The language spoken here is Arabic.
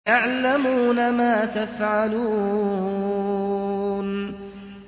يَعْلَمُونَ مَا تَفْعَلُونَ